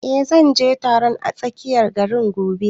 Eh, zan je taron a tsakiyar gari gobe